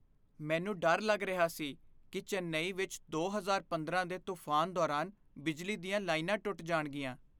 ਮੈਨੂੰ ਡਰ ਲੱਗ ਰਿਹਾ ਸੀ ਕੀ ਚੇਨੱਈ ਵਿੱਚ ਦੋ ਹਜ਼ਾਰ ਪੰਦਰਾਂ ਦੇ ਤੂਫਾਨ ਦੌਰਾਨ ਬਿਜਲੀ ਦੀਆਂ ਲਾਈਨਾਂ ਟੁੱਟ ਜਾਣਗੀਆਂ